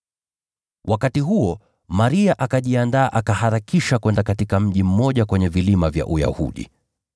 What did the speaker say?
Wakati huo Maria akajiandaa, akaharakisha kwenda katika mji mmoja kwenye vilima vya Uyahudi.